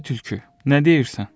Ay tülkü, nə deyirsən?